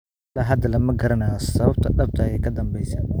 Ilaa hadda lama garanayo sababta dhabta ah ee ka danbeysa.